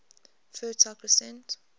fertile crescent